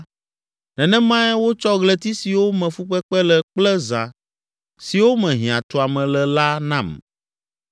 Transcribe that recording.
nenemae wotsɔ ɣleti siwo me fukpekpe le kple zã siwo me hiãtuame le la nam.